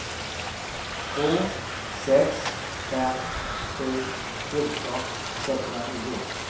två sex fem sju fjorton sexhundranio